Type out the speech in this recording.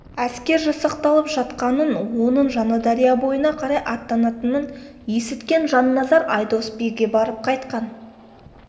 әскер жасақталып жатқанын оның жаңадария бойына қарай аттанатының есіткен жанназар айдос биге барып қайтқан